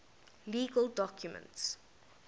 legal documents